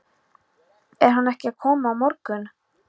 Er hann ekki að koma á morgun?